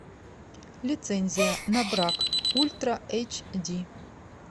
лицензия на брак ультра эйч ди